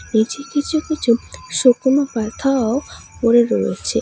নীচে কিছু কিছু শুকনো পাথাও পড়ে রয়েছে।